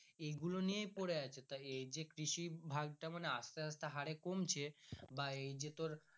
এগুলো নিয়ে পরে আছে তা এই কৃষি ভাগটা মানে আস্তে আস্তে হরে কমছে বা এই যে তোর।